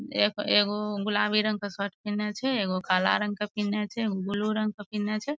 एक एगो गुलाबी रंग के शर्ट पिन्हने छै एगो काला रंग के पिन्हने छै एगो ब्लू रंग के पिन्हने छै ।